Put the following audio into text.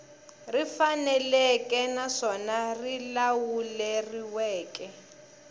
ri faneleke naswona ri lawuleriweke